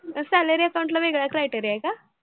ते salary account ला वेगळे criteria आहे का?